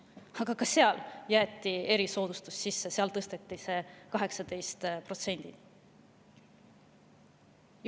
Aga ka seal jäeti erisoodustus sisse, see maks tõsteti 18%‑ni.